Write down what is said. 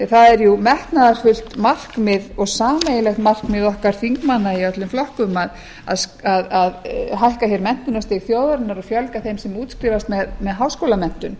það er metnaðarfullt markmið og sameiginlegt markmið okkar þingmanna í öllum flokkum að hækka menntunarstig þjóðarinnar og fjölga þeim sem útskrifast með háskólamenntun